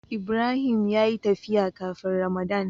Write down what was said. Ibrahim ya yi tafiya kafin ramadan.